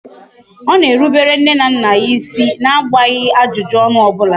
Ọ na-erubere nne na nna ya isi na agbaghị ajụjụ ọnụ ọbula